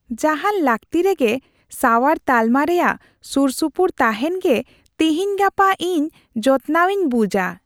ᱡᱟᱦᱟᱱ ᱞᱟᱹᱠᱛᱤᱨᱮᱜᱮ ᱥᱟᱣᱟᱨ ᱛᱟᱞᱢᱟ ᱨᱮᱭᱟᱜ ᱥᱩᱨᱼᱥᱩᱯᱩᱨ ᱛᱟᱦᱮᱱ ᱜᱮ ᱛᱤᱦᱤᱧ ᱜᱟᱯᱟ ᱤᱧ ᱡᱚᱛᱱᱟᱣ ᱤᱧ ᱵᱩᱡᱟ ᱾